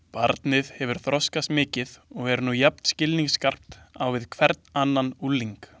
Barnið hefur þroskast mikið og er nú jafn skilningsskarpt á við hvern annan ungling.